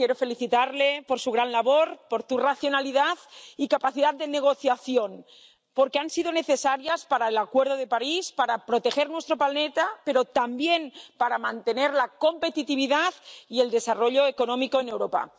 Quiero felicitarle por su gran labor, por su racionalidad y capacidad de negociación, porque han sido necesarias para el Acuerdo de París, para proteger nuestro planeta, pero también para mantener la competitividad y el desarrollo económico en Europa.